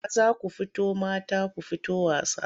Maza ku fito mata ku fito wasa.